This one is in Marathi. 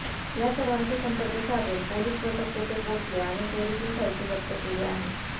या सर्वांशी संपर्क साधून पोलीस पथक तेथे पोहोचले आणि चोरीतील साहित्य जप्त केले आहे